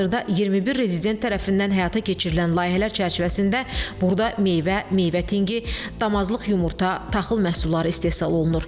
Hazırda 21 rezident tərəfindən həyata keçirilən layihələr çərçivəsində burada meyvə, meyvə tinqi, damazlıq yumurta, taxıl məhsulları istehsal olunur.